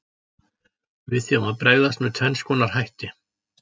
Við því má bregðast með tvenns konar hætti.